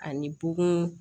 Ani bugun